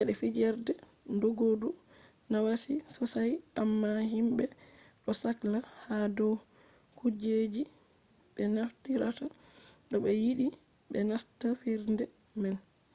cede fijerde doggudu nawai sosai amma himɓe ɗo sakla ha dow kujeji ɓe naftirta to ɓe yiɗi ɓe nasta fijerde man